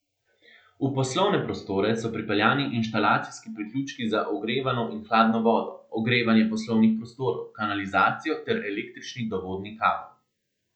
V poslovne prostore so pripeljani inštalacijski priključki za ogrevano in hladno vodo, ogrevanje poslovnih prostorov, kanalizacijo ter električni dovodni kabel.